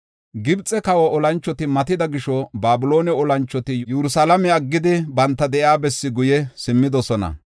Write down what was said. Gibxe kawa olanchoti matida gisho, Babiloone olanchoti Yerusalaame aggidi banta de7iya bessaa guye simmidosona.